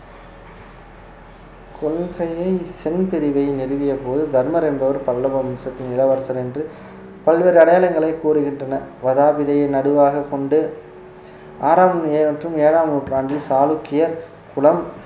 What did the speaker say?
கொள்கையை சென் பிரிவை நிறுவிய போது தர்மர் என்பவர் பல்லவ வம்சத்தின் இளவரசர் என்று பல்வேறு அடையாளங்களை கூறுகின்றன வதாபிதையை நடுவாகக் கொண்டு ஆறாம் மற்றும் ஏழாம் நூற்றாண்டில் சாளுக்கிய குலம்